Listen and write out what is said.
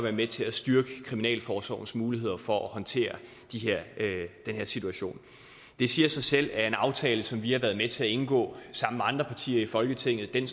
er med til at styrke kriminalforsorgens muligheder for at håndtere den her situation det siger sig selv at en aftale som vi har været med til at indgå sammen med andre partier i folketinget er